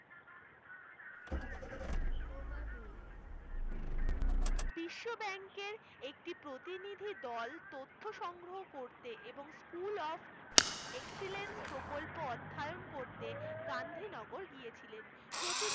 Overview, বিশ্ব bank এর একটা প্রতিনিধি দল তথ্য সংগ্রহের জন্য এবং Mission School of Excellence প্রকল্প অধ্যায়ন করতে গান্ধীনগর গিয়েছিলেন ।